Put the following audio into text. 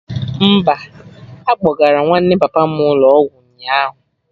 Mba, akpọgara nwanne papa m ụlọ ọgwụ ụnyaahụ